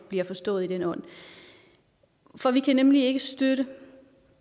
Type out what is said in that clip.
bliver forstået i den ånd for vi kan nemlig ikke støtte